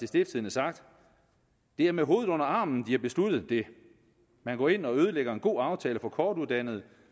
stiftstidende sagt det er med hovedet under armen at de har besluttet det man går ind og ødelægger en god aftale for kortuddannede